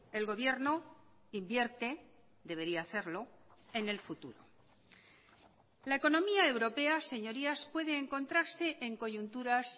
el gobierno invierte debería hacerlo en el futuro la economía europea señorías puede encontrarse en coyunturas